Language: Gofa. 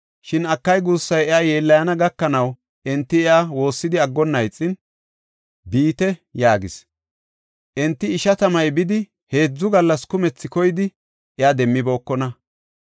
Shin akay guussay iya yeellayana gakanaw, enti iya woossidi aggonna ixin, “Biite” yaagis. Enti ishatamay bidi heedzu gallas kumethi koyidi, iya demmibookona.